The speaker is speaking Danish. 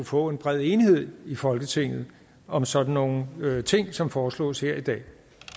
får bred enighed i folketinget om sådan nogle ting som foreslås her i dag